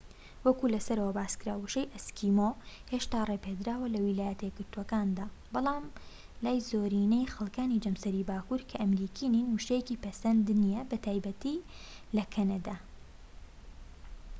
وەکو لە سەرەوە باسکرا وشەی ئەسکیمۆ هێشتا ڕێپێدراوە لە ویلایەتەیەکگرتوەکاندا بەڵام بەلای زۆرینەی خەلکانی جەمسەری باكوور کە ئەمریکی نین وشەیەکی پەسەند نیە بەتایبەتی لە کەنەدا